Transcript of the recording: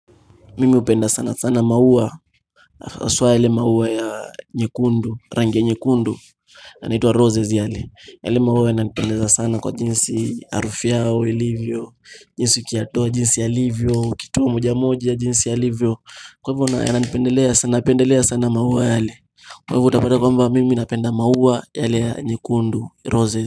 Mimi upenda sana sana maua haswa ile maua ya nyekundu rangi ya nyekundu yanaitwa roses yale yale maua yananipendeza sana kwa jinsi arufu yao ilivyo, jinsi ukiyatoa jinsi yalivyo, ukitoa moja moja jinsi yalivyo kwa hivo napendelea sana maua yale kwa hivyo utapada kwamba mimi napenda maua yale ya nyekundu roses.